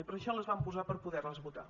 i per això les vam posar per poder les votar